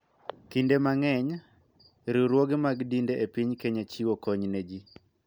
Kinde mang�eny, riwruoge mag dinde e piny Kenya chiwo kony ne ji .